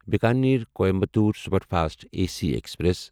Bikaner Coimbatore superfast A C express